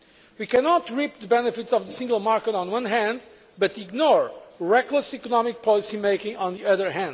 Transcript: We cannot reap the benefits of the single market on the one hand and ignore reckless economic policy making on the other.